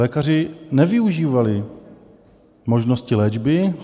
Lékaři nevyužívali možnosti léčby.